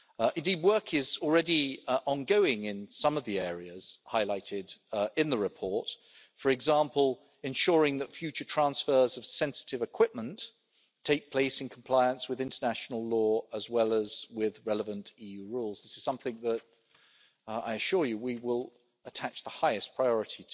Indeed, work is already ongoing in some of the areas highlighted in the report for example, ensuring that future transfers of sensitive equipment take place in compliance with international law, as well as with the relevant EU rules. This is something to which, I assure you, we will attach the highest priority.